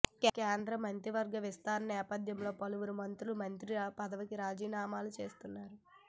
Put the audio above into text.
కేంద్ర మంత్రివర్గ విస్తరణ నేపథ్యంలో పలువురు మంత్రులు మంత్రి పదవికి రాజీనామాలు చేస్తున్నారు